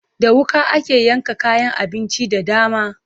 Da wuƙa ake yanka kayan abinci da dama.